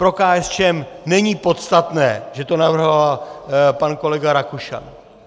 Pro KSČM není podstatné, že to navrhoval pan kolega Rakušan.